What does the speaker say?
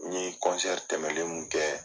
N ye tɛmɛlen min kɛ